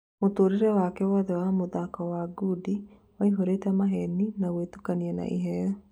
Mũtũrĩre wake wothe wa mũthako wa ngundi waihũrĩte maheni, na gũĩtukania na iheyo.